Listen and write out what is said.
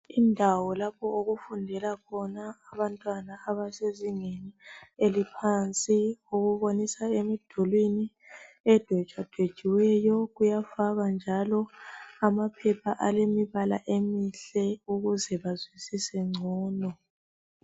Indawo lapho okufundela khona abantwana abasezingeni eliphansi okubonisa emdulwini edwetshwadwetshiweyo kuyafakwa njalo amaphepha alemibala emihle ukuze bazwisise ngcono.